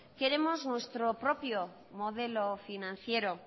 queremos nuestro propio modelo financiero